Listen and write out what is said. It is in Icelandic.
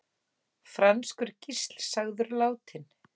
Franskur gísl sagður látinn